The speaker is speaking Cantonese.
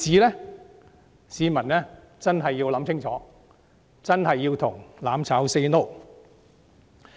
就此，市民真的要深思熟慮，真的要向"攬炒 "say no。